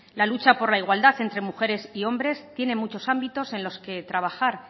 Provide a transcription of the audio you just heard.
la lucha por la igualdad entre mujeres y hombres tienen muchos ámbitos en los que trabajar